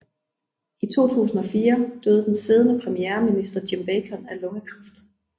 I 2004 døde den siddende premierminister Jim Bacon af lungekræft